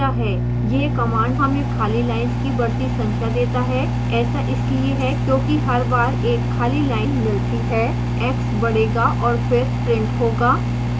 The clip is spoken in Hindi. यह command हमें खाली lines की बढ़ती संख्या देता है ऐसा इसलिए है क्योंकि हर बार एक खाली lines मिलती है x बढ़ेगा और फिर प्रिंट होगा